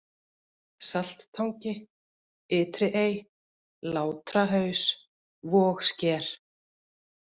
Salttangi, Ytri-Ey, Látrahaus, Vogsker